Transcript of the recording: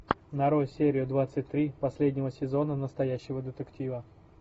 нарой серию двадцать три последнего сезона настоящего детектива